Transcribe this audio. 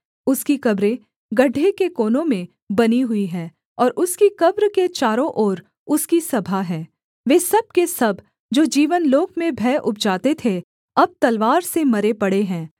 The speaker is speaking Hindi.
उसकी कब्रें गड्ढे के कोनों में बनी हुई हैं और उसकी कब्र के चारों ओर उसकी सभा है वे सब के सब जो जीवनलोक में भय उपजाते थे अब तलवार से मरे पड़े हैं